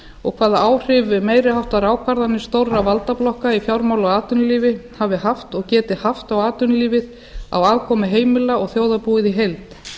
og hvaða áhrif meiri háttar ákvarðanir stórra valdablokka í fjármála og atvinnulífi hafi haft og geti haft á atvinnulífið á afkomu heimila og þjóðarbúið í heild